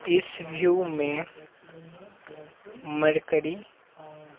इस व्यू में मरकरी।